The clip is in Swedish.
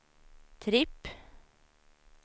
tripp